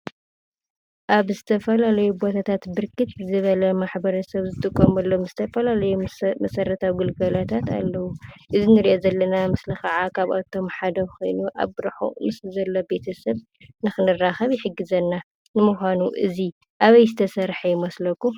ኣብ ዝተፈላለየ ቦታታት ብርክት ዝበለ ማሕበረሰብ ዝጥቀመሎም ዝተፈላለዩ መሰረታዊ ግልጋሎታት ኣለዉ፡፡ እዚ ንሪኦ ዘለና ምስሊ ከዓ ካብኣቶም ሓደ ኮይኑ ኣብ ርሑቕ ምስ ዘለዉ ቤተሰብ ንኽንራኸብ ይሕግዘና፡፡ ንምዃኑ እዚ ኣበይ ዝተሰርሐ ይመስለኩም?